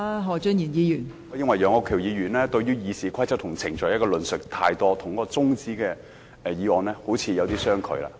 我認為楊岳橋議員對於《議事規則》和程序的論述太多，與中止待續議案好像有點相距。